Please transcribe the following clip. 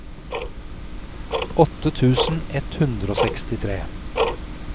åtte tusen ett hundre og sekstitre